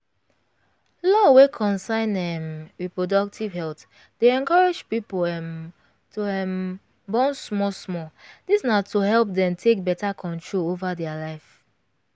law wey concern um reproductive health dey encourage people um to um born small small this na to help them take better control over their life